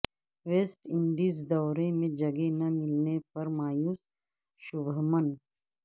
waste Indies دورے میں جگہ نہ ملنے پر مایوس شبھمن